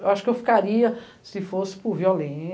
Eu acho que eu ficaria se fosse por